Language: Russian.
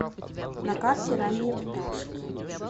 на карте ранние пташки